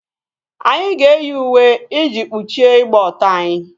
Anyị na-eyi uwe iji kpuchie ịgba ọtọ anyị